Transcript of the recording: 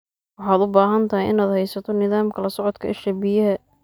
Waxaad u baahan tahay inaad haysato nidaamka la socodka isha biyaha.